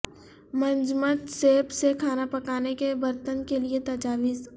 منجمد سیب سے کھانا پکانے کے برتن کے لئے تجاویز